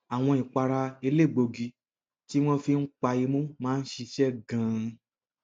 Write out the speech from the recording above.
àwọn ìpara elégbòogi tí wọn fi ń pa imú máa ń ṣiṣẹ ganan